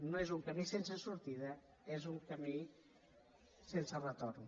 no és un camí sense sortida és un camí sense retorn